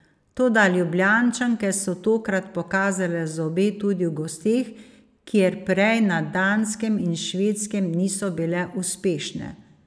Toda Ljubljančanke so tokrat pokazale zobe tudi v gosteh, kjer prej na Danskem in Švedskem niso bile uspešne.